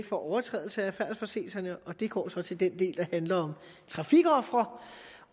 for overtrædelse af færdselsforseelser og det går så til den del der handler om trafikofre